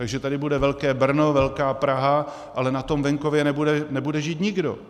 Takže tady bude velké Brno, velká Praha, ale na tom venkově nebude žít nikdo.